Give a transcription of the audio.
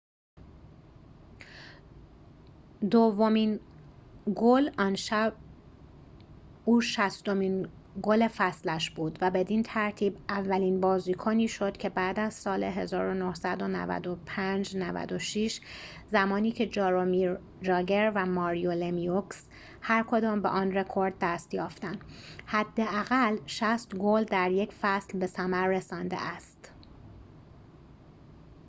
دومین گل آن شب او شصتمین گل فصلش بود و بدین ترتیب اولین بازیکنی شد که بعد از سال ۹۶-۱۹۹۵ زمانی که جارومیر جاگر و ماریو لمیوکس هرکدام به آن رکورد دست یافتند حداقل ۶۰ گل در یک فصل به ثمر رسانده است